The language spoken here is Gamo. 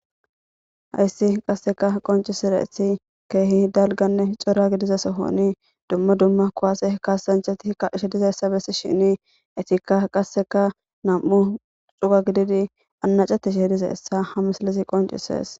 hayssi qasseka qoncisire eti keehi dalganne cora gidize sohoni dumma dumma kowaase hkasancheti ka she dizeessabessi shini etikka qasseka nam7u cuga gididi annacati she dizeessa hamislizi qoncisees